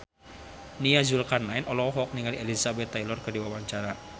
Nia Zulkarnaen olohok ningali Elizabeth Taylor keur diwawancara